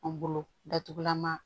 An bolo datugulan ma